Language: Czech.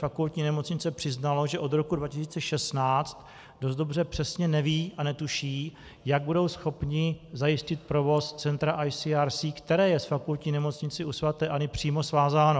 Fakultní nemocnice přiznalo, že od roku 2016 dost dobře přesně neví a netuší, jak budou schopni zajistit provoz centra ICRC, které je s Fakultní nemocnicí u sv. Anny přímo svázáno.